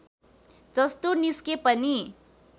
जस्तो निस्के पनि